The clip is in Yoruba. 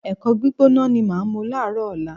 Ẹ̀kọ gbígbóná ni màá mu láàárọ̀ ọ̀la